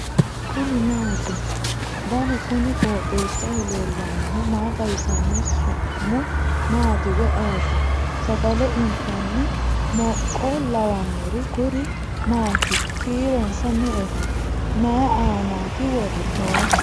kuni maati ? danu kuni qooxeessaho leellannohu maa xawisanno su'mu maati woy ayeti ? sagale intanni mooqqo lawannori kuri maati kiironsa me'eho mayi aanati noohu